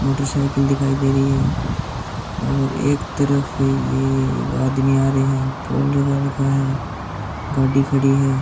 Motor cycle दिखाई दे रही है और एक तरफ आदमी आ रहे हैं पोल लगा रखा है गाड़ी खड़ी है।